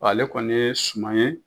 ale kɔni ye suman ye.